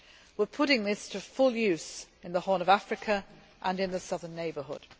We are putting this to full use in the Horn of Africa and in the Southern Neighbourhood.